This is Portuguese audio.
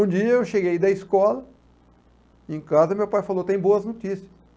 Um dia eu cheguei da escola, em casa, meu pai falou, tem boas notícias.